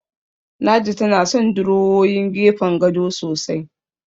Ladi tana son durowowin gefen gado sosai.